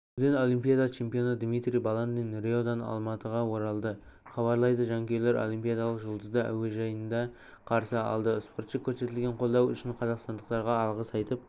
жүзуден олимпиада чемпионы дмитрий баландин риодан алматыға оралды хабарлайды жанкүйерлер олипиадалық жұлдызды әуежайда қарсы алды спортшы көрсетілген қолдау үшінқазақстандықтарға алғыс айтып